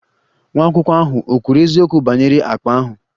Nwa akwụkwọ ahụ ò kwuru eziokwu banyere akpa ahụ?